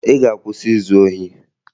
Ị ga-akwụsị izu ohi!